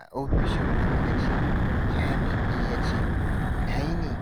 A ofishin gwamnati, jami’i ya ce, "Ina yini?"